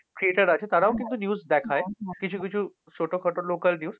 creator আছে তারাও কিন্তু news দেখায়। কিছু কিছু ছোট-খাটো local news